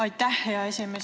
Aitäh, hea esimees!